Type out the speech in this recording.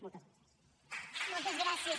moltes gràcies